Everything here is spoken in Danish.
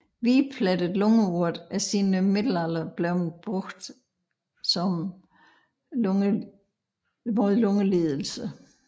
Hvidplettet lungeurt er siden middelalderen blevet anvendt mod lungelidelser